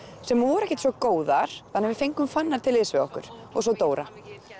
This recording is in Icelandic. sem voru ekkert svo góðar þannig að við fengum Fannar til liðs við okkur og svo Dóra